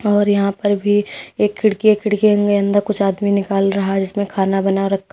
और यहां पर भी एक खिड़की खिड़कियों के अंदर कुछ आदमी निकाल रहा है जीसमें खाना बना रखा--